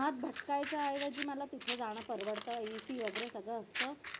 हात दुखवायच्या ऐवजी मला तिथे जण परवडत AC वगैरे सगळं असत.